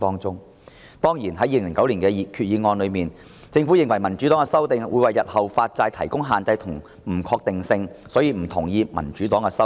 就2009年的決議案，政府認為民主黨的修訂會為日後發債帶來限制及不確定性，所以不同意民主黨的修訂。